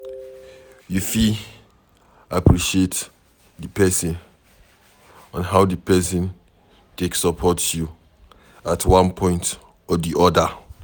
You fit appreciate di person on how di person take support you at one point or di oda